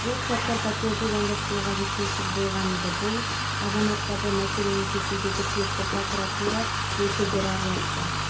уақытта энидің зауыттары мен кен орындарында практикадан өтіп жатыр тәжрибе басталып кетті ары қарай кісі